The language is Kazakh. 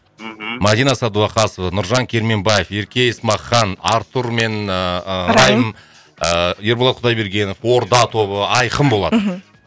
мхм мадина садуақасова нұржан керменбаев ерке есмахан артур мен ыыы райым ыыы ерболат құдайбергенов орда тобы айқын болады мхм